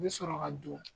I bɛ sɔrɔ ka don